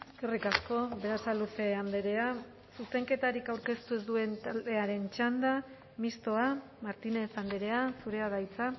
eskerrik asko berasaluze andrea zuzenketarik aurkeztu ez duen taldearen txanda mistoa martínez andrea zurea da hitza